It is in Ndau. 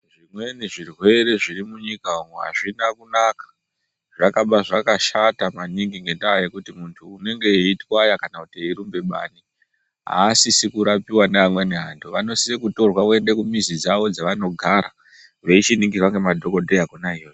Zvimweni zvirwere zviri munyika umu azvina kunaka zvakaba zvakashata maningi ngekuti muntu unenge eitwaya kana eirumba bani. Asisi kurapiwa neamweni ake vanosisa kutorwa voenda kumizi dzawo dzavanogara veichiningirwa nemadhokodheya kona iyoyo.